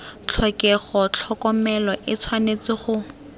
tlhokega tlhokomelo e tshwanetse go